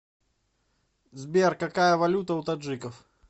сбер какая валюта у таджиков